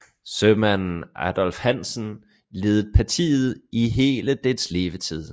Sømanden Adolf Hansen ledede partiet i hele dets levetid